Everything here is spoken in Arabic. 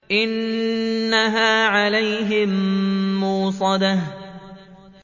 إِنَّهَا عَلَيْهِم مُّؤْصَدَةٌ